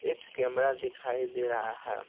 एक कैमरा दिखाई दे रहा है।